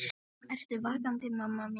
Mamma, ertu vakandi mamma mín?